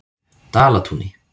Dalatúni